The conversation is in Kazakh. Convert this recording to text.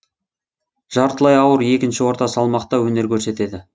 жартылай ауыр екінші орта салмақта өнер көрсетеді